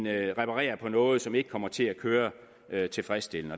end reparere på noget som ikke kommer til at køre tilfredsstillende